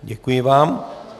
Děkuji vám.